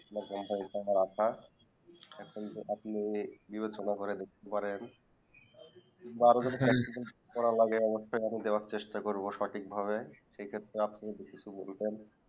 আপনার company তে আমার আশা এখন তো যে আপনি দেখা সোনা করে দেখতে পারেন জন মতন দেওয়ার অবশ্যই চেষ্টা করব সঠিকভাবে সেই ক্ষেত্রে বিশেষজ্ঞ কোরবান